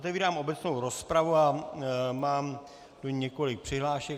Otevírám obecnou rozpravu a mám tu několik přihlášek.